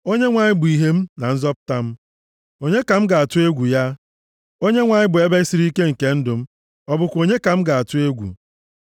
Onyenwe anyị bụ ìhè + 27:1 \+xt Aịz 60:19-20; Mai 7:8\+xt* m na nzọpụta m, onye ka m ga-atụ egwu ya? Onyenwe anyị bụ ebe siri ike nke ndụ m, ọ bụkwa onye ka m ga-atụ egwu?